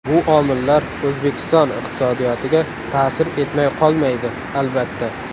Bu omillar O‘zbekiston iqtisodiyotiga ta’sir etmay qolmaydi, albatta.